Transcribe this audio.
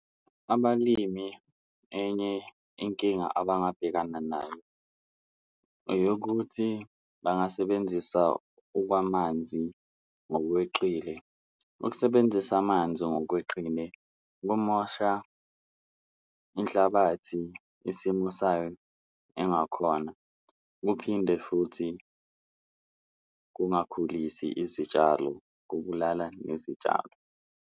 Abalimi enye inkinga abangabhekana nayo eyokuthi bangasebenzisa okwamanzi ngokweqile, ukusebenzisa amanzi ngokweqile kumosha inhlabathi isimo sayo engakhona kuphinde futhi kungakhulisi izitshalo, kubulala nezitshalo.